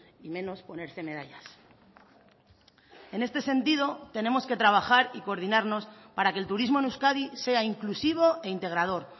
y menos ponerse medallas en este sentido tenemos que trabajar y coordinarnos para que el turismo en euskadi sea inclusivo e integrador